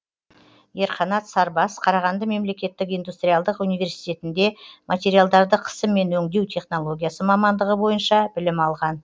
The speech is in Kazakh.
ерқанат сарбас қарағанды мемлекеттік индустриалдық университетінде материалдарды қысыммен өңдеу технологиясы мамандығы бойынша білім алған